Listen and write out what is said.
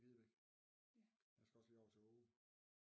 I Videbæk jeg skal også lige over til Åge